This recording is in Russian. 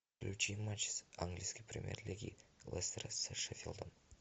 включи матч с английской премьер лиги лестера с шеффилдом